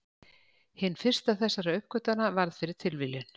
Hin fyrsta þessara uppgötvana varð fyrir tilviljun.